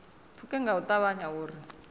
pfuke nga u ṱavhanya uri